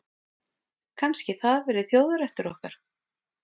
Kannski það verði þjóðarréttur okkar.